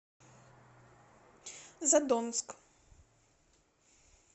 задонск